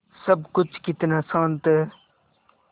सब कुछ कितना शान्त है